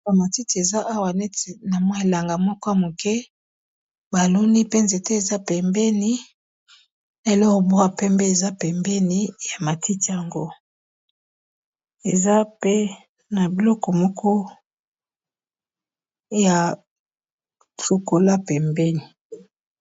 Ba matiti eza awa neti na mwa elanga moko ya muke, ba loni pe nzete eza pembeni , na eloko moko ya pembe eza pembeni ya matiti yango . Eza pe na biloko moko ya chocoolat pembeni .